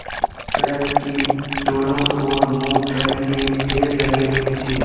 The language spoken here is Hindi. सड़क की दोनों ओर मूँगफली के ढेर लगे हुए थे